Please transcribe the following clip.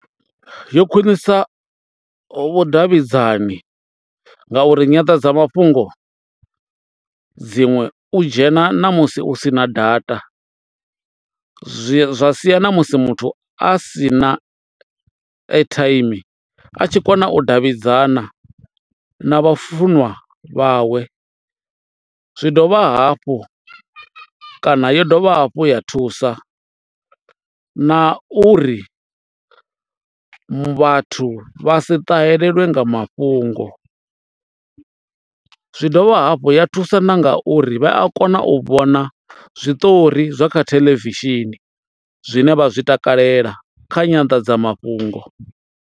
Yo khwiṋisa vhudavhidzani ngauri nyanḓadzamafhungo dziṅwe u dzhena na musi u sina data zwi zwa sia na musi muthu a si na airtime a tshi kona u davhidzana na vhafunwa vhawe, zwi dovha hafhu kana yo dovha hafhu ya thusa na uri vhathu vha si ṱahelelwa nga mafhungo, zwi dovha hafhu ya thusa na nga uri vha a kona u vhona zwiṱori zwa kha theḽevishini zwine vha zwi takalela kha nyandadzamafhungo.